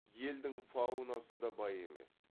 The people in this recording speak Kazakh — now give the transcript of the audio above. елдің фаунасы да бай емес